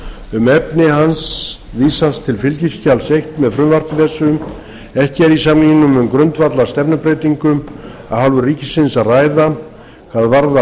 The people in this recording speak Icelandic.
um efni hans vísast til fskj eins með frumvarpi þessu ekki er í samningnum um grundvallarstefnubreytingu af hálfu ríkisins að ræða hvað varðar